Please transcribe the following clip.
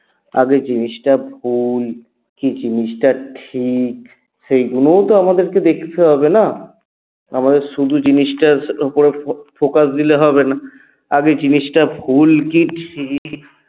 আগে জিনিসটা ভুল কী জিনিসটা ঠিক সেইগুলোও তো আমাদেরকে দেখেতে হবে না? আমাদের শুধু জিনিসটার উপরে focus দিলে হবে না আগে জিনিসটা ভুল কী ঠিক